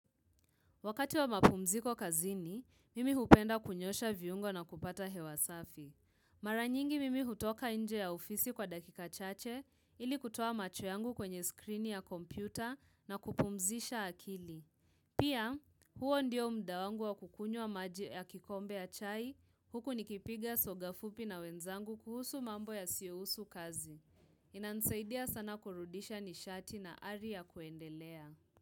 Wakati wa mapumziko kazini, mimi hupenda kunyosha viungo na kupata hewa safi. Maranyingi mimi hutoka nje ya ofisi kwa dakika chache, ili kutuo macho yangu kwenye screen ya kompyuta na kupumzisha akili. Pia, huo ndio mda wangu wa kukunywa maji ya kikombe ya chai, huku nikipiga soga fupi na wenzangu kuhusu mambo yasiyohusu kazi. Inanisaidia sana kurudisha nishati na ari ya kuendelea.